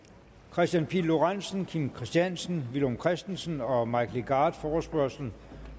kristian pihl lorentzen kim christiansen villum christensen og mike legarth forespørgsel